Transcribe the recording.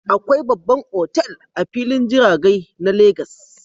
Akwai babban otal a filin jiragai na legas